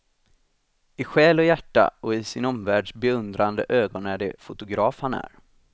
I själ och hjärta och sin omvärlds beundrande ögon är det fotograf han är.